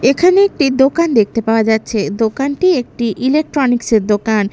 এখানে একটি দোকান দেখতে পাওয়া যাচ্ছে দোকানটি একটি ইলেকট্রনিক্স -এর দোকান।